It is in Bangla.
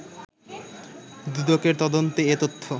দুদকের তদন্তে এ তথ্য